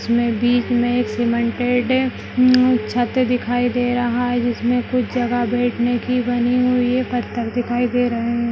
इसमें बिच में एक सीमेंटेड उम्म छत दिखाई दे रहा है जिसमें कुछ जगह बेठने की बनी हुई है पत्थर दिखाई दे रहें हैं।